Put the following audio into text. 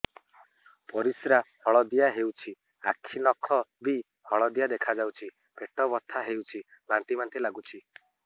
ପରିସ୍ରା ହଳଦିଆ ହେଉଛି ଆଖି ନଖ ବି ହଳଦିଆ ଦେଖାଯାଉଛି ପେଟ ବଥା ହେଉଛି ବାନ୍ତି ବାନ୍ତି ଲାଗୁଛି